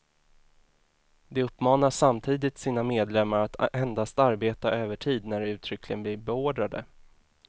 De uppmanar samtidigt sina medlemmar att endast arbeta övertid när de uttryckligen blir beordrade.